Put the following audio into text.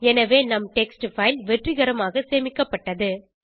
எனவே நம் text file வெற்றிகரமாக சேமிக்கப்பட்டது